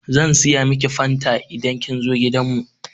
Zan saya miki fanta idan kin zo gidan mu.